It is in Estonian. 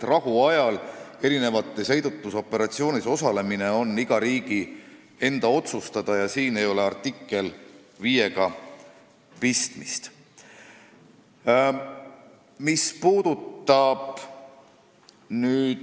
Rahuajal erinevates heidutusoperatsioonides osalemine on aga iga riigi enda otsustada ja siin ei ole artikkel 5-ga pistmist.